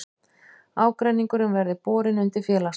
Ágreiningurinn verði borin undir félagsdóm